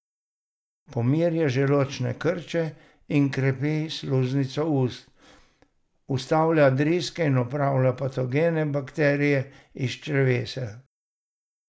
Pomirja želodčne krče in krepi sluznico ust, ustavlja driske in odpravlja patogene bakterije iz našega črevesja.